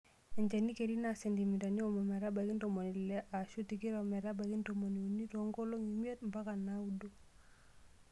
Enchani keri naa sentimitai onom metabaiki ntomoni ile aashun tikitam metabaiki ntomoni uni too nkolong'I imiet mpaka naaudo.